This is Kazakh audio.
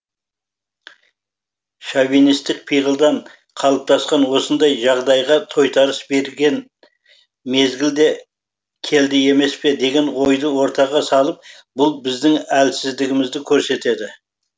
шовинистік пиғылдан қалыптасқан осындай жағдайға тойтарыс берген мезгілді келді емес пе деген ойды ортаға салып бұл біздің әлсіздігімізді көрсетеді